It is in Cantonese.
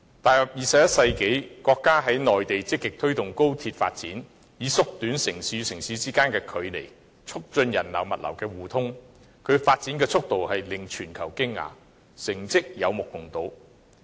踏入21世紀，國家在內地積極推動高鐵發展，以縮短城市之間的距離，並促進人流、物流的互通，其發展速度令全球驚訝，成績有目共睹。